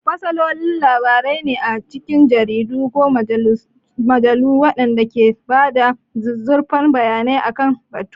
Fasaloli labarai ne a cikin jaridu ko mujallu waɗanda ke ba da zuzzurfan bayanai akan batun.